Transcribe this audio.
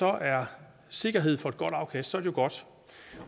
er sikkerhed for et godt afkast jo godt